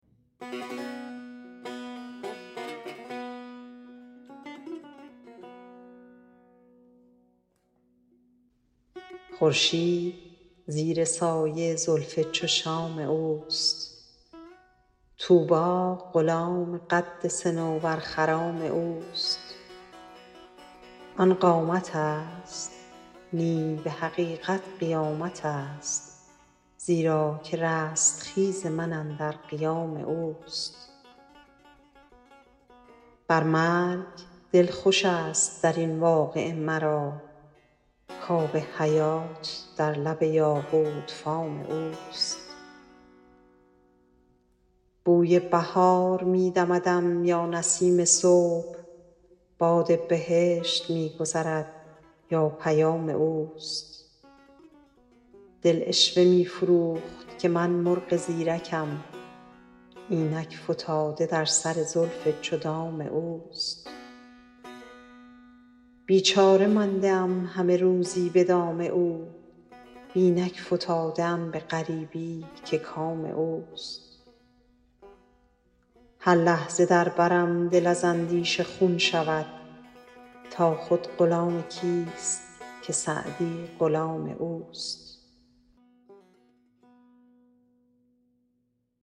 خورشید زیر سایه زلف چو شام اوست طوبی غلام قد صنوبرخرام اوست آن قامتست نی به حقیقت قیامتست زیرا که رستخیز من اندر قیام اوست بر مرگ دل خوشست در این واقعه مرا کآب حیات در لب یاقوت فام اوست بوی بهار می دمدم یا نسیم صبح باد بهشت می گذرد یا پیام اوست دل عشوه می فروخت که من مرغ زیرکم اینک فتاده در سر زلف چو دام اوست بیچاره مانده ام همه روزی به دام او و اینک فتاده ام به غریبی که کام اوست هر لحظه در برم دل از اندیشه خون شود تا خود غلام کیست که سعدی غلام اوست